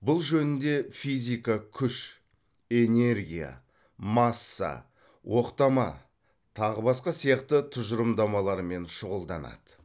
бұл жөнінде физика күш энергия масса оқтама тағы басқа сияқты тұжырымдамалармен шұғылданады